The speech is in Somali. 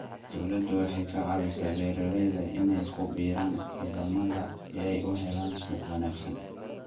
Dawladdu waxay ka caawisaa beeralayda inay ku biiraan ciidamada si ay u helaan suuq wanaagsan.